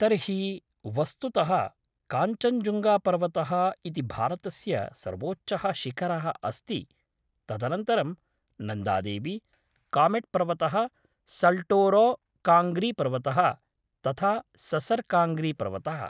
तर्हि, वस्तुतः, काञ्चञ्जुङ्गापर्वतः इति भारतस्य सर्वोच्चः शिखरः अस्ति, तदनन्तरं नन्दा देवी, कामेट् पर्वतः, सल्टोरो काङ्ग्री पर्वतः, तथा ससर् काङ्ग्री पर्वतः।